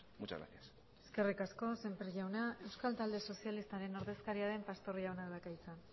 muchas gracias eskerrik asko semper jaunak euskal talde sozialistaren ordezkariaren pastor jaunak dauka hitza